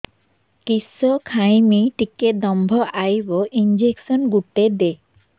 କିସ ଖାଇମି ଟିକେ ଦମ୍ଭ ଆଇବ ଇଞ୍ଜେକସନ ଗୁଟେ ଦେ